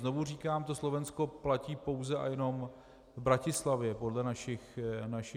Znovu říkám, to Slovensko platí pouze a jenom v Bratislavě podle našich údajů.